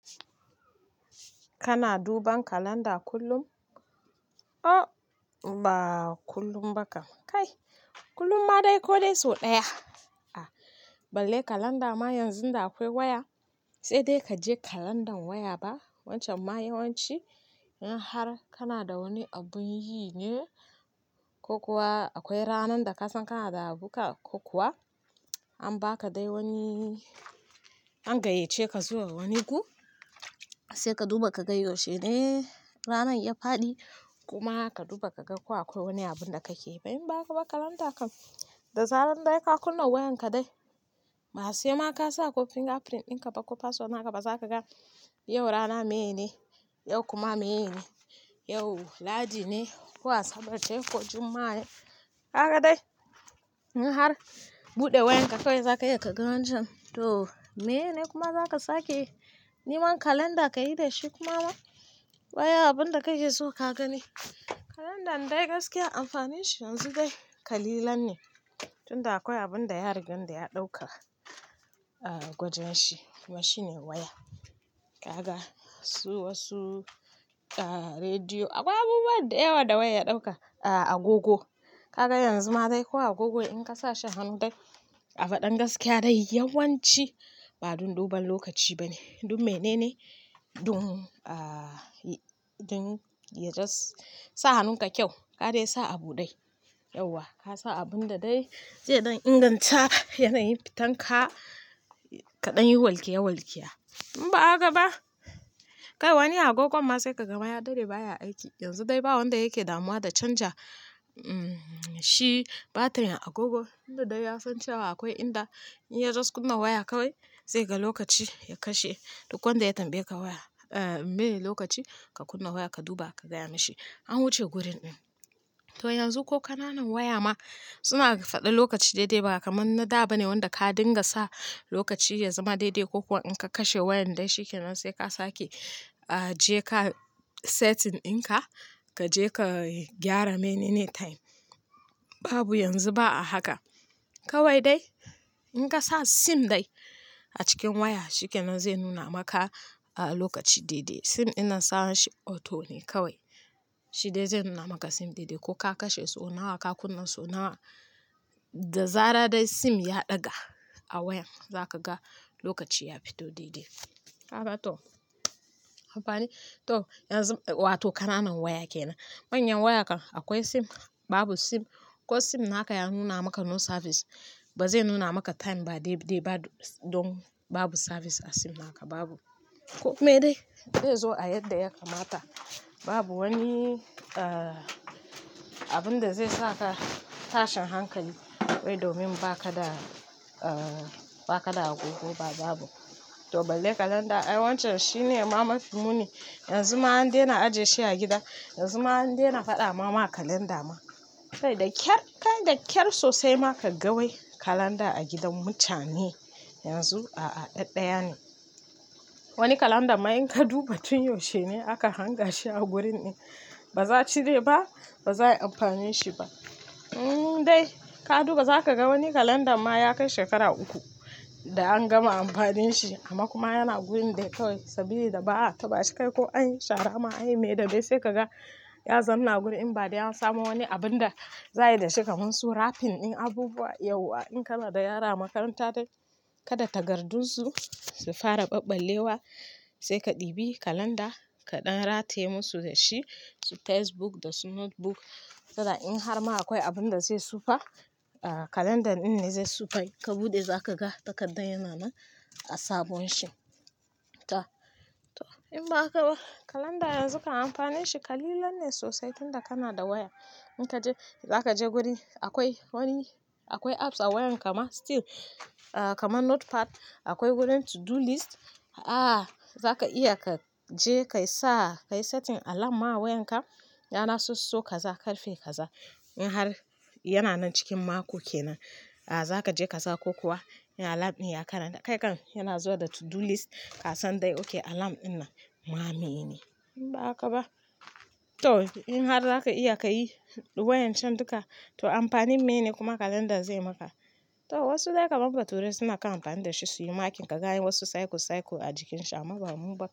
Kana duban kalanda kullum? Oh ba kullum ba kam, kai kullum ma dai ko dai sau ɗaya. Balle kalanda ma yanzun da akwai waya, sai dai ka je kalandan waya ba. Wancan ma yawanci in har kana da wani abun yi ne ko kuwa akwai ranan da ka san kana da abu ka ko kuwa an ba ka dai wani, an gayyace ka zuwa wani gu, sai ka duba ka ga yaushe ne ranan ya faɗi kuma ka duba ka ga ko akwai wani abun da kake yi. In ba haka ba kalanda kan, da zarar dai ka kunna wayan ka dai, masu yamma ka sa ko fingerprint ɗin ka ba ko password naka ba za ka ga yau rana meyene, yau kuma meyene, yau lahadi ne ko asaba ce ko jumma, a ne. Kaga dai in har buɗe wayan ka kawai za ka iya ka ga wancan to meyene kuma za ka sake neman kalanda ka yi da shi kuma ba. Bayan abun da kake so ka gani. Kalandan dai gaskiya amfanin shi yanzu dai ƙalilan ne tunda akwai abun da ya rigan da ya ɗauka a gwajin shi. Kuma shine waya. Kaga su wasu a rediyo akwai abubuwan da yawa da waya ya ɗauka a agogo. Kaga yanzu ma dai ko agogo in ka sa shi hannu dai a faɗan gaskiya dai yawanci ba don duban lokaci ba ne, don mene ne don, ah, don ya jas sa hannun ka kyau. Ka dai sa abu ɗai. Yauwa ka sa abun da dai zai dan inganta yanayin fitan ka kaɗan yi walƙiya walƙiya. In ba ha ka ba, kai wani agogon ma sai ka ga mayadaɗe baya aiki. Yanzu dai ba wanda yake damuwa da canja, mm, shi batirin agogon tunda dai ya san cewa akwai inda in ya jas kunna waya kawai zai ga lokaci ya kashe. Duk wanda ya tambaye ka waya, ah, meye lokaci ka kunna waya ka duba ka gaya mishi. An wuce gurin ɗin. To yanzu ko ƙananan waya ma suna faɗa lokaci daidai ba kamar na da ba ne wanda ka dinga sa lokaci ya zama daidai ko kuwa in ka kashe wayan dai shi ke nan sai ka sake, ah, je ka setting ɗin ka, ka je ka gyara menene time. Babu yanzu ba a haka. Kawai dai in ka sa sim dai a cikin waya shi ke nan zai nuna maka lokaci daidai. Sim yana sa shi auto ne kawai. Shi dai zai nuna maka sim daidai ko ka kashe sau nawa ka kunna sau nawa. Da zarar dai sim ya ɗaga a wayan za ka ga lokaci ya fito daidai. Kaga toh amfani. Toh yanzu wa toh kananan waya ke nan. Manyan waya kan akwai sim babu sim ko sim naka ya nuna maka no service ba zai nuna maka time ba dai dai ba don babu service a sim naka babu. Ko kuma dai zai zo a yadda ya kamata babu wani, ah, abun da zai saka tashin hankali wai domin ba ka da, ah, ba ka da agogo ba babu. To balle kalanda ai wancan shi ne ma mafi muni. Yanzu ma an daina ajiye shi a gida. Yanzu ma an daina faɗa ma ma kalanda ma. Kai da ƙyar kai da ƙyar sosai ma ka ga wai kalanda a gidan mutane yanzu a, a ɗaɗɗaya ne. Wani kalanda ma in ka duba tun yaushe ne aka hanga shi a gurin ɗin. Ba za, a cire ba ba za ai amfanin shi ba. Mm dai ka duba za ka ga wani kalanda ma ya kai shekara uku da an gama amfanin shi amma kuma yana gurin da kawai saboda ba a taba shi kai ko an yi shara ma an yi me da bai sai ka ga ya zam na gurin in ba dai an samo wani abun da za, a yi da shi kamar su rapping ɗin abubuwa. Yauwa in kana da yara a makaranta dai kada tagardun su su fara ɓaɓɓallewa sai ka ɗibi kalanda ka ɗan rate musu da shi su test book da su notebook. Tana in har ma akwai abun da zai tsufa, ah, kalandan ɗin ne zai sufa yi. Ka buɗe za ka ga takardar yana nan a sabon shi. To, to in ba haka ba kalanda yanzu kan amfanin shi kalilan ne sosai tunda kana da waya. In ka je za ka je guri akwai wani akwai apps a wayan kama still, ah, kama notepad akwai wurin to do list. A zaka iya ka je ka yi sa ka yi setting alarm ma wayan ka rana soso ka za ƙarfe ka za. In har yana nan cikin mako kenan, a za ka je ka sa ko kuwa in alarm ɗin ya karanta kai kan yana zuwa da to do list ka san dai oke alarm ɗin nan ma mene. In ba haka ba. To in har za ka iya ka yi waƴan can duka to amfanin meyene kuma kalandan zai yi maka? To wasu dai kamar baturai suna kan amfani da shi su yi makin ka gani wasu cycle cycle a jikin shi amma bamu ba.